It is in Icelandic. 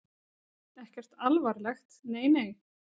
Ekkert alvarlegt, nei nei.